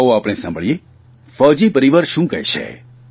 આવો આપણે ફૌઝી પરિવાર શું કહે છે